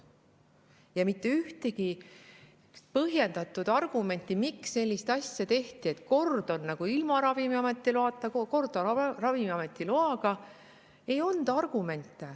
Ja mitte ühtegi põhjendatud argumenti, miks on nii, et kord on ilma Ravimiameti loata, kord on Ravimiameti loaga, ei olnud.